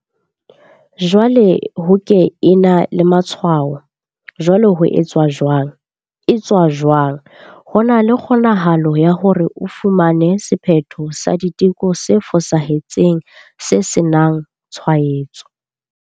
Jwale ho ke ena le matshwao. Jwale ho etswa jwang? etswa jwang? Ho na le kgonahalo ya hore o fumane sephetho sa diteko se fosahetseng se senangtshwaetso.